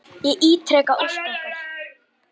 Ég ítreka ósk okkar.